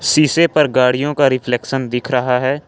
शीशे पर गाड़ियों का रिफ्लेक्शन दिख रहा है।